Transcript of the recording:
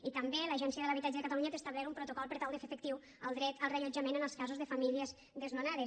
i també l’agència de l’habitatge de catalunya té establert un protocol per tal de fer efectiu el dret al reallotjament en els casos de famílies desnonades